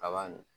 Kaba nin